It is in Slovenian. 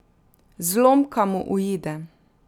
Zlomka mu uide.